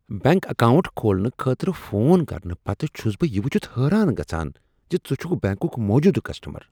Bank account کھولنہٕ خٲطرٕ phone کرنہٕ پتہٕ چھس بہٕ یہ ؤچھتھ حٲران گژھان زِ ژٕ چھُکھ بینکک موجودٕ کسٹمر۔